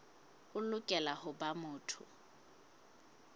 o lokela ho ba motho